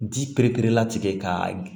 Ji pereperelatigɛ ka